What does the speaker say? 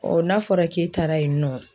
n'a fɔra k'e taara yen nɔ